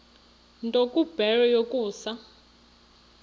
nto kubarrow yokusa